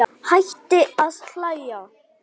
Hætti að hlæja.